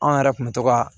Anw yɛrɛ kun bɛ to ka